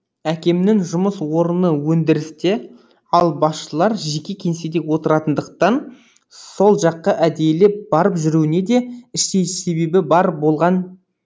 әкемнің жұмыс орыны өндірісте ал басшылар жеке кеңседе отыратындықтан сол жаққа әдейілеп барып жүруіне де іштей бір себебі болған